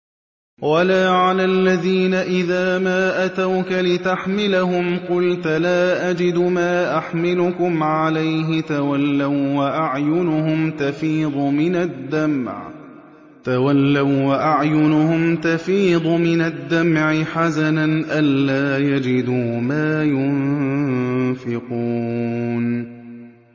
وَلَا عَلَى الَّذِينَ إِذَا مَا أَتَوْكَ لِتَحْمِلَهُمْ قُلْتَ لَا أَجِدُ مَا أَحْمِلُكُمْ عَلَيْهِ تَوَلَّوا وَّأَعْيُنُهُمْ تَفِيضُ مِنَ الدَّمْعِ حَزَنًا أَلَّا يَجِدُوا مَا يُنفِقُونَ